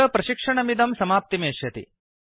अत्र प्रशिक्षणमिदं समाप्तिमेष्यति